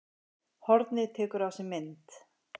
Hornið tekur á sig mynd